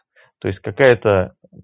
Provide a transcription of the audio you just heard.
то есть какая-то